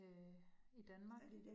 Øh i Danmark